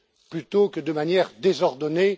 plutôt que de manière désordonnée.